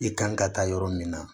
I kan ka taa yɔrɔ min na